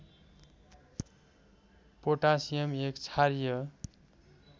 potassium एक क्षारीय